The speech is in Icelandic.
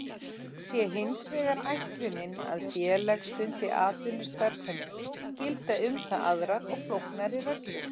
Sé hins vegar ætlunin að félag stundi atvinnustarfsemi gilda um það aðrar og flóknari reglur.